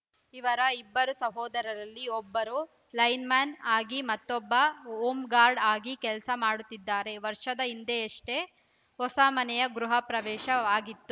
ಇವರ ಇಬ್ಬರು ಸಹೋದರರಲ್ಲಿ ಒಬ್ಬರು ಲೈನ್‌ಮ್ಯಾನ್‌ ಆಗಿ ಮತ್ತೊಬ್ಬ ಹೋಮ್‌ ಗಾರ್ಡ್‌ ಆಗಿ ಕೆಲಸ ಮಾಡುತ್ತಿದ್ದಾರೆ ವರ್ಷದ ಹಿಂದಷ್ಟೇ ಹೊಸ ಮನೆಯ ಗೃಹ ಪ್ರವೇಶ ವಾಗಿತ್ತು